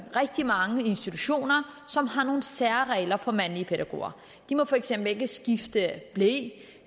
rigtig mange i institutioner som har nogle særregler for mandlige pædagoger de må for eksempel ikke skifte ble